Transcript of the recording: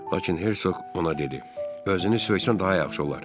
Lakin Hersoq ona dedi: Özünü söysən daha yaxşı olar.